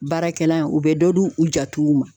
Baarakɛla ye u be dɔ di u jatigiw ma